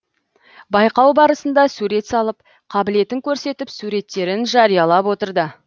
байқау барысында сурет салып қабілетін көрсетіп суреттерін жариялап отырды